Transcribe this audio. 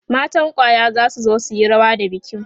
matan kwaya zasu zo suyi rawa da bikin